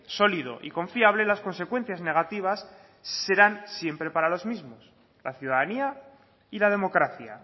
sólido y confiable las consecuencias negativas serán siempre para los mismos la ciudadanía y la democracia